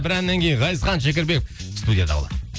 бір әннен кейін ғазизхан шекербеков студияда болады